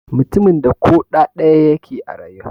Mutumin da ƙoda daya yake rayuwa.